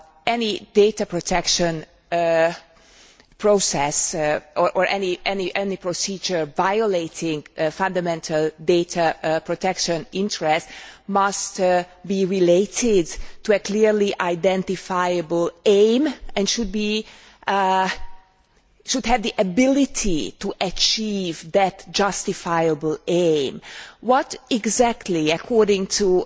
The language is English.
Any data protection process or any procedure violating fundamental data protection interests must be related to a clearly identifiable aim and should have the ability to achieve that justifiable aim. What exactly, according to